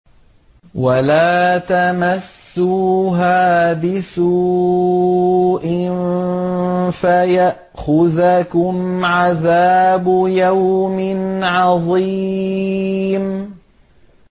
وَلَا تَمَسُّوهَا بِسُوءٍ فَيَأْخُذَكُمْ عَذَابُ يَوْمٍ عَظِيمٍ